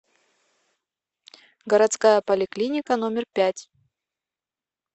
городская поликлиника номер пять